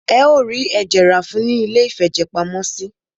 Ẹ o rí ẹ̀jẹ̀ rá fún ùn ní iléìfẹ̀jẹ̀pamọ́sí.